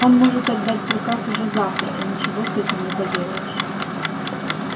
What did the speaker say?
он может отдать приказ уже завтра и ничего с этим не поделаешь